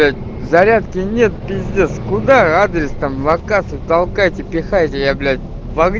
ять зарядки нет пиздец куда адрес там локацию толкайте пихайте я блять в огни